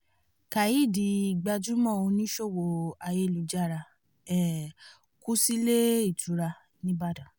khadí gbajúmọ̀ oníṣòwò ayélujára um kù sílé ìtura nìbàdàn